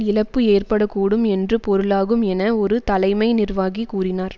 இழப்பு ஏற்பட கூடும் என்று பொருளாகும் என ஒரு தலைமை நிர்வாகி கூறினார்